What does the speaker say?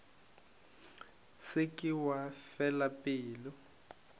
se ke wa fela pelo